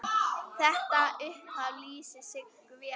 Þetta upphaf lýsir Siggu vel.